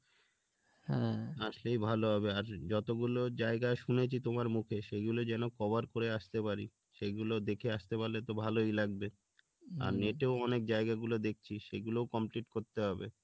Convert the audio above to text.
আর সেই ভালো হবে আর যতগুলো জায়গা শুনেছি তোমার মুখে সেগুলো যেন cover করে আসতে পারি সেইগুলো দেখে আসতে পারলে তো ভালোই লাগবে আর net এও অনেক জায়গাগুলো দেখছি সেগুলোও complete করতে হবে